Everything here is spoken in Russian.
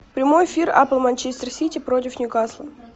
прямой эфир апл манчестер сити против ньюкасла